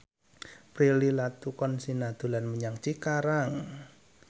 Prilly Latuconsina dolan menyang Cikarang